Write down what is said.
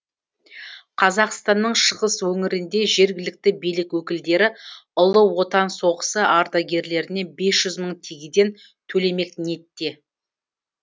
қазақстанның шығыс өңірінде жергілікті билік өкілдері ұлы отан соғысы ардагерлеріне бес жүз мың тегеден төлемек ниетте